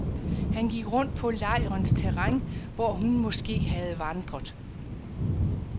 Han gik rundt på lejrens terræn, hvor hun måske havde vandret.